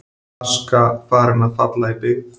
Aska farin að falla í byggð